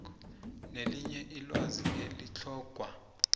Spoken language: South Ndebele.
nelinye ilwazi elitlhogwa